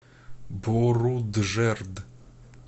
боруджерд